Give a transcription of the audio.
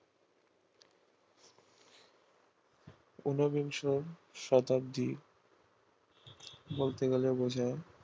ঊনবিংশ শতাব্দীর বলতে গেলে বোঝায়